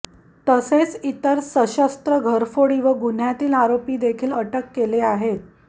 तसेच इतर सशस्त्र घरफोडी व गुन्ह्यातील आरोपी देखील अटक केले आहेत